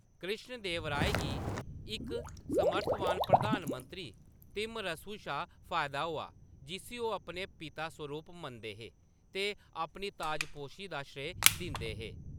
कृष्ण देवराय गी इक समर्थवान प्रधान मंत्री तिम्मरसु शा फायदा होआ, जिस्सी ओह्‌‌ अपने पिता सरूप मनदे हे ते अपनी ताजपोशी दा श्रेय दिंदे हे।